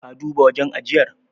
Ka duba wajen ajiyar?